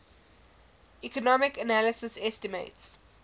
economic analysis estimates